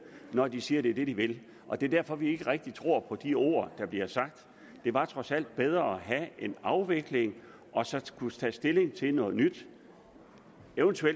når de siger at det er det de vil og det er derfor vi ikke rigtig tror på de ord der bliver sagt det var trods alt bedre at have en afvikling og så kunne tage stilling til noget nyt